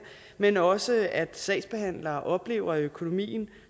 men også at sagsbehandlere oplever at økonomien